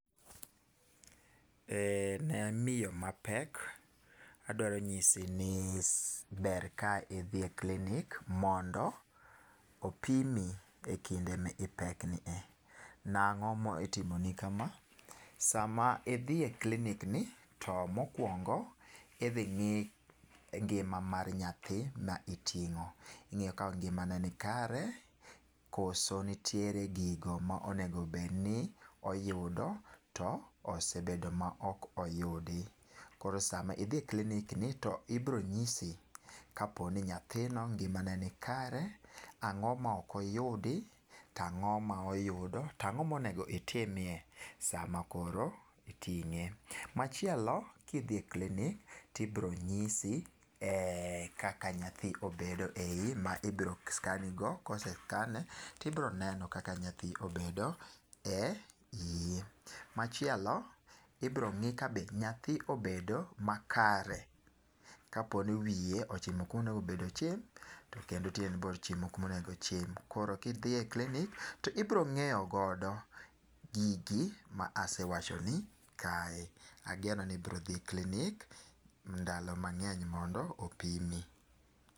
Eh ne miyo mapek, adwaro nyisi ni ber ka idhi e klinik mondo opimi ekinde ma ipekno. Nang'o itimoni kama? Sama idhi e klinik ni to mokuongo idhi ng'i ngima mar nyathi ma iting'o. Idhi ng'i ka ngimane ni kare kose nitiere gima onego bed ni oyudo to osebedo ma ok oyudi. Koro sama idhi e klinik ni to ibiro nyisi kapo ni nyathino ngimane ni kare, ang'o ma ok oyudi, ang'o ma oyudo to ang'o ma onego itimie sama koro iting'e. Machielo kidhi e klinik to ibiro nyisi kaka nyathi obedo eiyi ma ibiro scan nigo ka ose [cvs] scan nigo to ibiro neno kaka nyathi obet eiyi. Machielo ibiro ng'i ka nyathi obedo makare, kapo ni wiye ochimo kuma owinjo ochim to tiende be ochimo kuma onego ochim. Koro kidhi e klinik to ibiro ng'eyo godo gigi mase wachoni kae. Ageno ni ibiro dhi e klinik ndalo mang'eny mondo mi opimi.